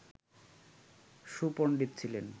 সুপন্ডিত ছিলেন